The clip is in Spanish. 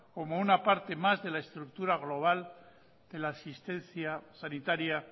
como una parte más de la estructura global de la asistencia sanitaria